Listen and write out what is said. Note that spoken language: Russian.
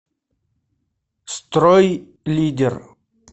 стройлидер